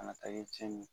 Kana taa kɛ cɛn ye